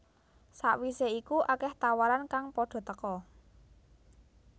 Sakwise iku akeh tawaran kang padha teka